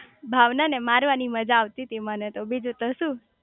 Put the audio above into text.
ભાવના ને મારવાની મજા આવતી તી મને તો બીજું તો શું